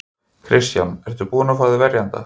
Kristján: Ertu búinn að fá þér verjanda?